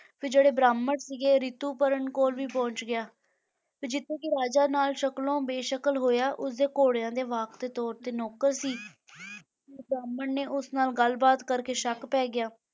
ਫਿਰ ਜਿਹੜੇ ਬ੍ਰਾਹਮਣ ਸੀਗੇ ਰਿਤੂ ਪਰਣ ਕੋਲ ਵੀ ਪਹੁੰਚ ਗਿਆ, ਤੇ ਜਿੱਥੇ ਕਿ ਰਾਜਾ ਨਲ ਸ਼ਕਲੋਂ ਬੇਸ਼ਕਲ ਹੋਇਆ ਉਸ ਦੇ ਘੋੜਿਆਂ ਦੇ ਵਾਹਕ ਦੇ ਤੌਰ ‘ਤੇ ਨੌਕਰ ਸੀ ਤੇ ਬ੍ਰਾਹਮਣ ਨੇ ਉਸ ਨਾਲ ਗੱਲ ਬਾਤ ਕਰਕੇ ਸ਼ੱਕ ਪੈ ਗਿਆ